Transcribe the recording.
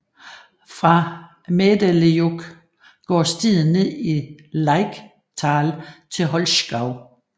Fra Mädelejoch går stien ned i Lechtal til Holzgau